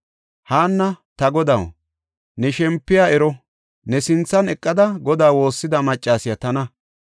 Haanna, “Ta godaw, ne shempoy ero; ne sinthan eqada Godaa woossida maccasiya tana.